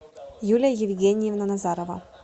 юлия евгеньевна назарова